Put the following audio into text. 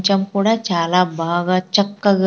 కొంచం కూడా చాలా బాగా చక్కగా.